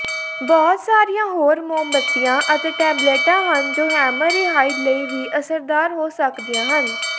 ਬਹੁਤ ਸਾਰੀਆਂ ਹੋਰ ਮੋਮਬੱਤੀਆਂ ਅਤੇ ਟੈਬਲੇਟਾਂ ਹਨ ਜੋ ਹੈਮਰਰੇਹਾਈਡ ਲਈ ਵੀ ਅਸਰਦਾਰ ਹੋ ਸਕਦੀਆਂ ਹਨ